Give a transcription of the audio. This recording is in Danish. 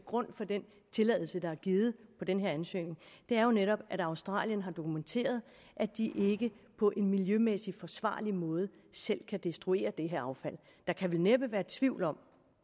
grund for den tilladelse der er givet på den her ansøgning jo netop at australien har dokumenteret at de ikke på en miljømæssigt forsvarlig måde selv kan destruere det her affald der kan vel næppe være tvivl om